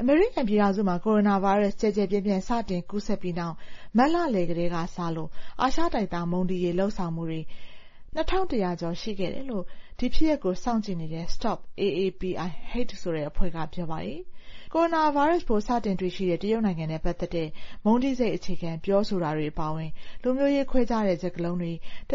အမေရိကန်ပြည်ထောင်စုမှာ ကိုရိုနာဗိုင်းရပ်စ် ကျယ်ကျယ်ပြန့်ပြန့် စတင်ကူးစက်ပြီးနောက် မတ်လလယ်ကတည်းက စလို့ အာရှနွယ်ဖွား မုန်းတီးရေး လုပ်ဆောင်မှုတွေ ၂,၁၀၀ ကျော် စာရင်းယူနိုင်ခဲ့တယ်လို့ ဒီဖြစ်ရပ်တွေကို စောင့်ကြည့်တဲ့ STOP AAPI Hate ဆိုတဲ့အဖွဲ့က ပြောပါတယ်။ ကိုရိုနာဗိုင်းရပ်စ် စတင်တွေ့ရှိတဲ့ တရုတ်နိုင်ငံနဲ့ ပတ်သက်ပြီး မုန်းတီးစိတ်အခြေခံ ပြောဆိုတာတွေ အပါအဝင် လူမျိုးရေးခွဲခြားတဲ့ စကားလုံးတွေ နှု